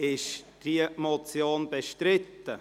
Ist diese Motion bestritten?